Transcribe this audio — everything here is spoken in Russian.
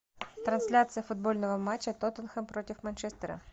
трансляция футбольного матча тоттенхэм против манчестера